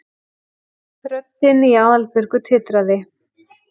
röddin í Aðalbjörgu titraði.